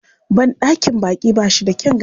Banɗakin baƙi ba shi da kyan gani.